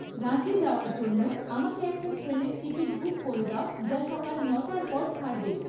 রাঁচি যাওয়ার জন্য আমাকে একটা ট্রেনের টিকিট বুক করে দাও যা সকাল ন'টার পর ছাড়বে